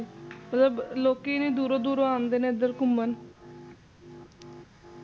ਮਤਲਬ ਲੋਕੀਂ ਇਨੀਂ ਦੂਰੋਂ ਦੂਰੋਂ ਆਉਂਦੇ ਨੇ ਇੱਧਰ ਘੁਮਣ